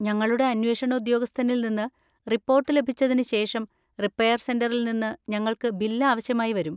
ഞങ്ങളുടെ അന്വേഷണ ഉദ്യോഗസ്ഥനിൽ നിന്ന് റിപ്പോർട്ട് ലഭിച്ചതിന് ശേഷം, റിപ്പയർ സെന്‍ററിൽ നിന്ന് ഞങ്ങൾക്ക് ബിൽ ആവശ്യമായി വരും.